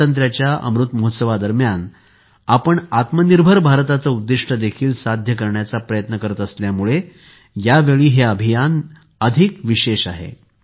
स्वातंत्र्याच्या अमृत महोत्सवादरम्यान आपण आत्मनिर्भर भारताचे उद्दिष्ट देखील साध्य करण्याचा प्रयत्न करत असल्यामुळे यावेळी हे अभियान अधिक विशेष आहे